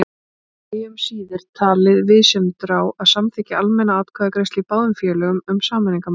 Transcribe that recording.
Bragi um síðir talið viðsemjendurna á að samþykkja almenna atkvæðagreiðslu í báðum félögum um sameiningarmálið.